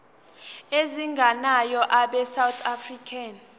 ezingenayo abesouth african